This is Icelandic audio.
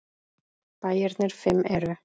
Bæirnir fimm eru